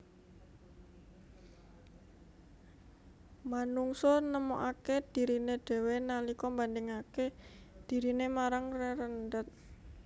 Manungsa nemokaké dhiriné dhéwé nalika mbandhingaké diriné marang rerendhet